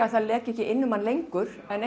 að það leki ekki inn um hann lengur en